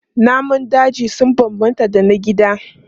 Namun daji sun bambanta da na gida.